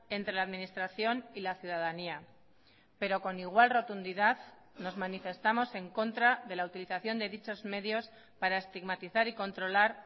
entre la administración y la ciudadanía pero con igual rotundidad nos manifestamos en contra de la utilización de dichos medios para estigmatizar y controlar